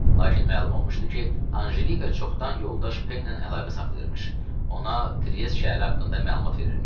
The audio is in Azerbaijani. Lakin məlum olmuşdu ki, Anjelika çoxdan yoldaş Peylə əlaqə saxlayırmış, ona Triest şəhəri haqqında məlumat verirmiş.